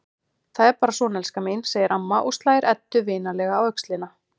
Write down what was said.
Þetta er bara svona, elskan mín, segir amma og slær Eddu vinalega á öxlina.